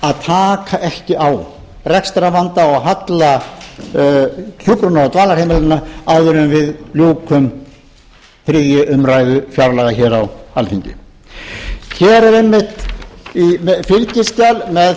að taka ekki á rekstrarvanda og halla hjúkrunar og dvalarheimilanna áður en við ljúkum þriðju umræðu fjárlaga á alþingi hér er einmitt í fylgiskjali með